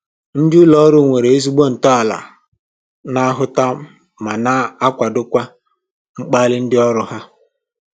Ndị ụlọ ọrụ nwere ezigbo ntọala na-ahụta ma na-akwadokwa mgbalị ndị ọrụ ha